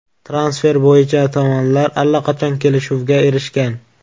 Transfer bo‘yicha tomonlar allaqachon kelishuvga erishgan.